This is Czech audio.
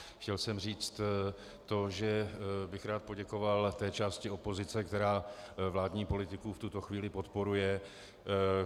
Chtěl jsem říct to, že bych rád poděkoval té části opozice, která vládní politiku v tuto chvíli podporuje.